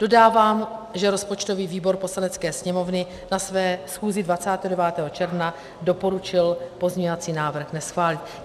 Dodávám, že rozpočtový výbor Poslanecké sněmovny na své schůzi 29. června doporučil pozměňovací návrh neschválit.